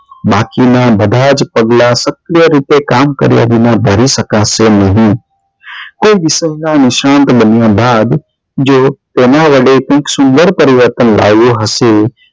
બાકી નાં બધા જ પગલાં સત્ય રીતે કામ કર્યા વિના ધારી શકાશે નહી કોઈ નાં નિશાન બન્યા બાદ જો તેના વડે કઈક સુંદર પરિવર્તન લાવ્યું હશે